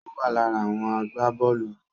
Ó wà lára àwọn agbábọ́ọ̀lù